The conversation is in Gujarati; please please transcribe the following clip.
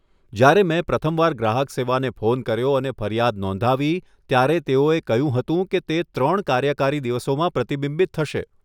જ્યારે મેં પ્રથમ વાર ગ્રાહક સેવાને ફોન કર્યો અને ફરિયાદ નોંધાવી, ત્યારે તેઓએ કહ્યું હતું કે તે ત્રણ કાર્યકારી દિવસોમાં પ્રતિબિંબિત થશે.